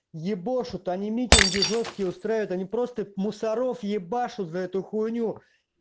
ебошут они митинги жёсткие устраивают они просто мусоров ебашут за эту хуйню